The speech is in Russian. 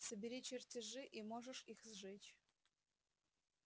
собери чертежи и можешь их сжечь